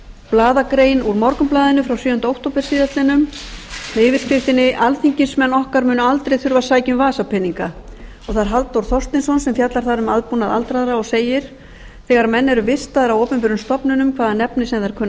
blaðagrein úr morgunblaðinu frá sjöunda október síðastliðinn með yfirskriftinni alþingismenn okkar munu aldrei þurfa að sækja um vasapeninga og það er halldór þorsteinsson sem fjallar þar um aðbúnað aldraðra og segir þegar menn eru vistaðir á opinberum stofnunum hvaða nafni sem þær kunna að